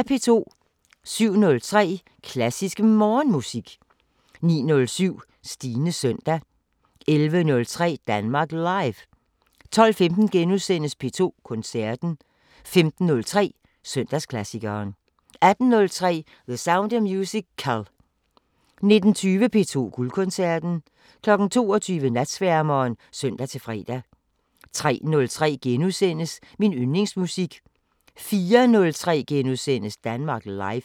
07:03: Klassisk Morgenmusik 09:07: Stines søndag 11:03: Danmark Live 12:15: P2 Koncerten * 15:03: Søndagsklassikeren 18:03: The Sound of Musical 19:20: P2 Guldkoncerten 22:00: Natsværmeren (søn-fre) 03:03: Min yndlingsmusik * 04:03: Danmark Live *